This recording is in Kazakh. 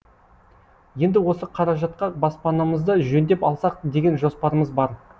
енді осы қаражатқа баспанамызды жөндеп алсақ деген жоспарымыз бар